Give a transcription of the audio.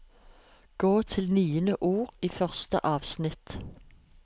Gå til niende ord i første avsnitt